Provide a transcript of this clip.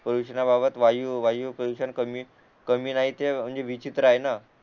प्रदूषणाबाबत वायू वायू प्रदूषण कमी कमी राहते म्हणजे विचित्र आहेत न